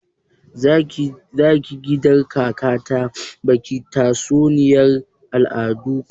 Zaki je gida kaka ta baki tatsuniyar al'adar ku?